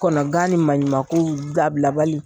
Kɔnɔgan ni maɲumankow dabilabali.